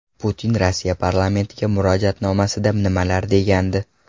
Putin Rossiya parlamentiga murojaatnomasida nimalar degandi?